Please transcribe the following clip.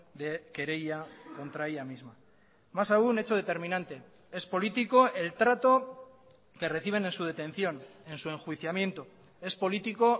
de querella contra ella misma más aún hecho determinante es político el trato que reciben en su detención en su enjuiciamiento es político